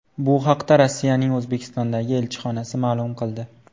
Bu haqda Rossiyaning O‘zbekistondagi elchixonasi ma’lum qildi .